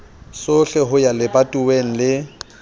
sohle ho ya lebatoweng le